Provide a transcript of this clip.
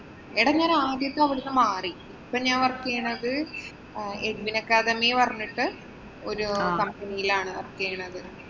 എടാ ഞാന്‍ ആദ്യത്തെ അവിടുന്ന് മാറി. ഇപ്പം work ചെയ്യണത് Edwin Academy പറഞ്ഞിട്ട് ഒരു company യിലാണ് work ചെയ്യണത്.